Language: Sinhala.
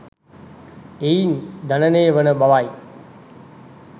එයින් ජනනය වන බවයි.